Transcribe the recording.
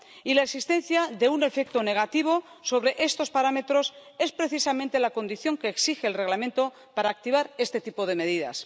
Y la existencia de un efecto negativo sobre estos parámetros es precisamente la condición que exige el Reglamento para activar este tipo de medidas.